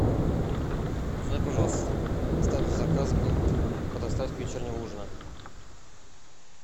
узнай пожалуйста статус заказа по доставке вечернего ужина